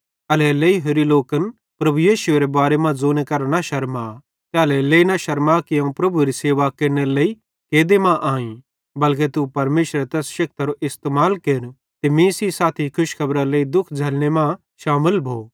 एल्हेरेलेइ होरि लोकन प्रभु यीशुएरे बारे मां ज़ोने करां शरमा ते एल्हेरेलेइ शरमा कि अवं प्रभुएरी सेवा केरनेरे लेइ कैदे मां आईं बल्के तू परमेशरेरे तैस शेक्ति इस्तेमाल केर ते मीं सेइं साथी खुशखेबरारे लेइ दुःख झ़लने मां शामिल भो